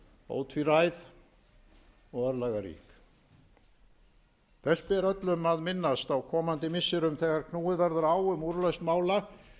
ótvíræð og örlagarík þess ber öllum að minnast á komandi misserum þegar knúið verður á um úrlausn mála þegar